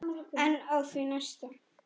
En á því næsta?